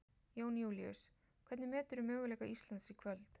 Jón Júlíus: Hvernig meturðu möguleika Íslands í kvöld?